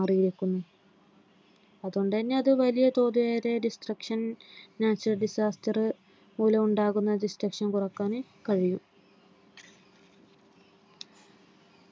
അത് വലിയതോതിലുള്ള destruction natural disaster മൂലം ഉണ്ടാവുന്ന destruction കുറക്കാൻ കഴിയും